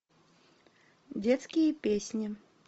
детские песни